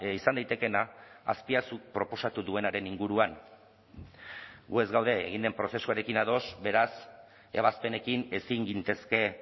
izan daitekeena azpiazuk proposatu duenaren inguruan gu ez gaude egin den prozesuarekin ados beraz ebazpenekin ezin gintezke